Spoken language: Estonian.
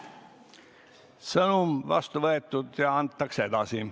Sõnum vastu võetud ja antakse edasi.